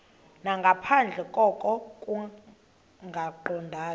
nangaphandle koko kungaqondani